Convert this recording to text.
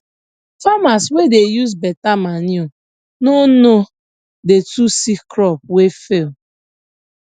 farmers wey dey use beta manure no no dey too see crop wey fail